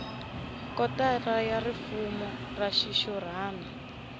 kotara ya rifumo ra xixurhana